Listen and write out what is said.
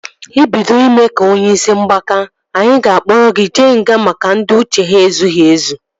Ị bido ime ka onye isi mgbaka, anyị ga-akpọrọ gị jee nga maka ndị uche ha ezughị ezụ